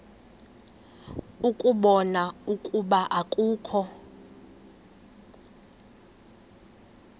ukubona ukuba akukho